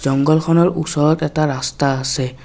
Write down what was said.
জঙ্ঘলখনৰ ওচৰত এটা ৰাস্তা আছে।